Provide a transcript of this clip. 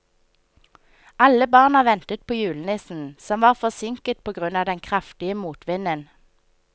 Alle barna ventet på julenissen, som var forsinket på grunn av den kraftige motvinden.